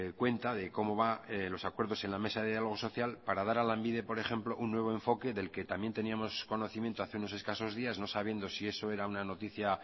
cuenta de cómo va los acuerdos en la mesa de diálogo social para dar a lanbide por ejemplo un nuevo enfoque del que también teníamos conocimiento hace unos escasos días no sabiendo si eso era una noticia